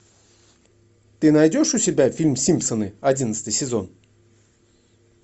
ты найдешь у себя фильм симпсоны одиннадцатый сезон